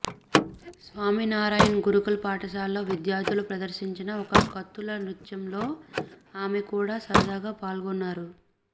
స్వామినారాయణ్ గురుకుల పాఠశాలలో విద్యార్ధులు ప్రదర్శించిన ఒక కత్తుల నృత్యంలో ఆమె కూడా సరదాగా పాల్గొన్నారు